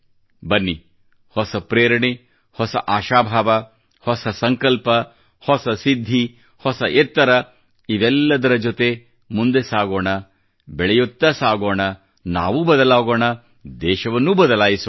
ಬನ್ನಿ ಹೊಸ ಪ್ರೇರಣೆಯೇ ಹೊಸ ಆಶಾಭಾವ ಹೊಸ ಸಂಕಲ್ಪ ಹೊಸ ಸಿದ್ಧಿ ಹೊಸ ಎತ್ತರ ಇವೆಲ್ಲದರ ಜೊತೆ ಮುಂದೆ ಸಾಗೋಣ ಬೆಳೆಯುತ್ತಾ ಸಾಗೋಣ ನಾವೂ ಬದಲಾಗೋಣ ದೇಶವನ್ನೂ ಬದಲಾಯಿಸೋಣ